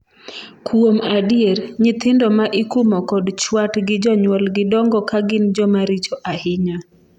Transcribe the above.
kuom adier, nyithindo ma ikumo kod chwat gi jonyuolgi dongo ka gin joma richo ahinya